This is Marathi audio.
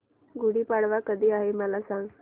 गुढी पाडवा कधी आहे मला सांग